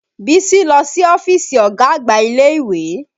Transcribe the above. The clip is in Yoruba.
Bísí lọ sí ọ́fíìsì ọ̀gá àgbà ilé ìwé